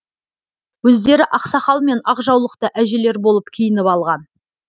өздері ақсақал мен ақ жаулықты әжелер болып киініп алған